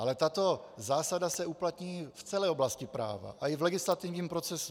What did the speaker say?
Ale tato zásada se uplatní v celé oblasti práva a i v legislativním procesu.